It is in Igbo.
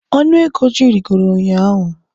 Ọnụ ego ji rịgoro ụnyahụ